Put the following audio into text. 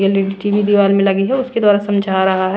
L E D TV दीवार में लगी हैउसके द्वारा समझा रहा है।